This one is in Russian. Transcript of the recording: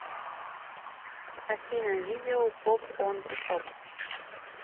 афина видео поп он зе топ